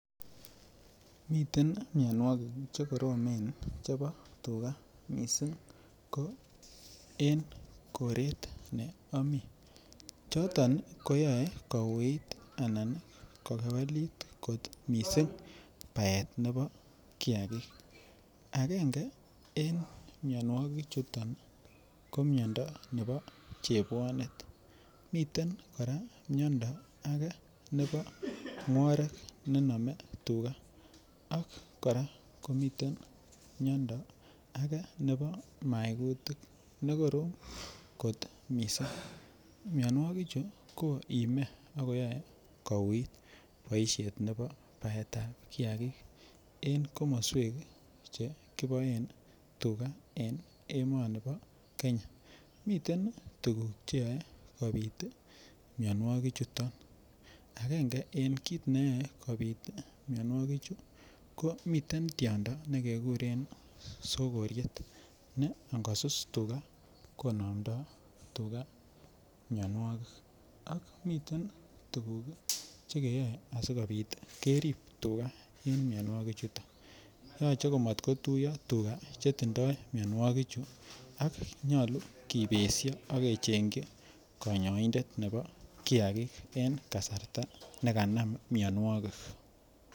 Miten mionwogik Che koromen chebo tuga mising ko en koret ne amii choton Che yoe kouit anan kokewelit kot mising baet nebo kiagik agenge en mianwogichuto ko miando nebo chebwonet miten kora miando ake nebo ngworek nenome tuga ak kora komiten miando ake nebo maigutik ne korom kot mising mianwogichu koime ak koyoe kouit boisiet nebo baetab kiagik en komoswek Che kiboen tuga en emoni bo Kenya miten tuguk Che yoe kobit mianwogichuto agenge en kit neyoe kobit mianwogichu komiten tiondo nekekuren sogoriet ne angosus tuga konomdoi tuga mianwogik ak komiten tuguk Che keyoe asi kobit kerib tuga mianwogichuto yoche komatkotuiyo tuga chetinye mianwogichu ak Che motinye ak nyolu kibesio ak kechengchi konyoindet nebo kiagik en kasarta nekanam mianwogik